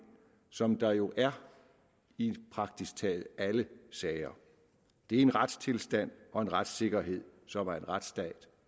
som der jo er i praktisk taget alle sager det er en retstilstand og retssikkerhed som er en retsstat